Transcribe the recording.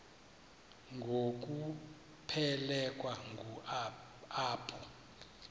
ngokuphelekwa ngu apho